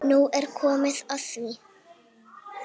Nú er komið að því.